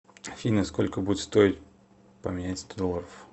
афина сколько будет стоить поменять сто долларов